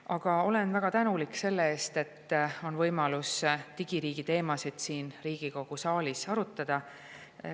Aga olen väga tänulik selle eest, et meil on võimalus digiriigi teemasid siin Riigikogu saalis arutada.